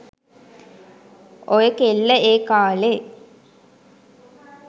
ඔය කෙල්ල ඒ කාලෙ